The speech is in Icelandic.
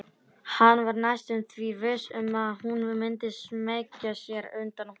Hann var næstum því viss um að hún myndi smeygja sér undan honum.